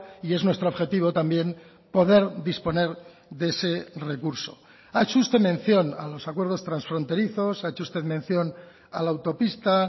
y es nuestro objetivo también poder disponer de ese recurso ha hecho usted mención a los acuerdos transfronterizos ha hecho usted mención a la autopista